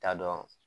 T'a dɔn